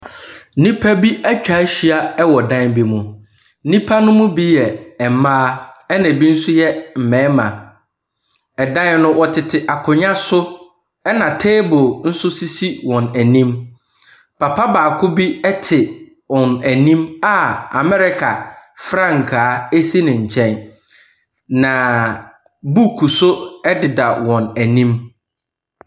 Nnipa bi atwa ahyia wɔ dan bi mu. Nnipa no bi yɛ mma na ebi yɛ mmarima. Ɛdan no, wɔtete akonnwa . Ɛna table nso sisi wɔn anim. Papa baako bi te wɔn anim a America frankaa si ne nkyɛn na book nso ɛdeda wɔn anim.